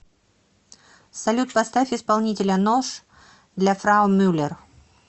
салют поставь исполнителя нож для фрау мюллер